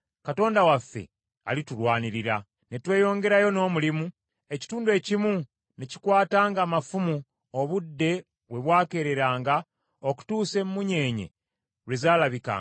Ne tweyongerayo n’omulimu, ekitundu ekimu ne kikwatanga amafumu obudde we bwakereranga okutuusa emmunyeenye lwe zaalabikanga.